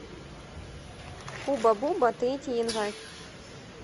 хубба бубба третий январь